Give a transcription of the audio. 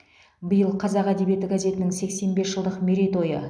биыл қазақ әдебиеті газетінің сексен бес жылдық мерей тойы